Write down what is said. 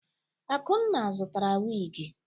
Akunna zụtara wigi.